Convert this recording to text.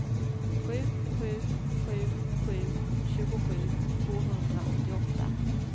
sju sju sju sju tjugosju tvåhundraåttioåtta